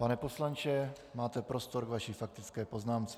Pane poslanče, máte prostor k vaší faktické poznámce.